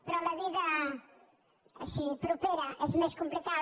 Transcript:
però la vida així propera és més complicada